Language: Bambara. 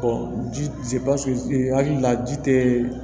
ji hakili la ji te